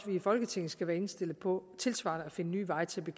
vi i folketinget skal være indstillet på tilsvarende at finde nye veje til